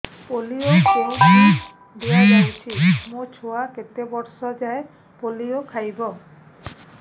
polio କେଉଁଠି ଦିଆଯାଉଛି ମୋ ଛୁଆ କେତେ ବର୍ଷ ଯାଏଁ ପୋଲିଓ ଖାଇବ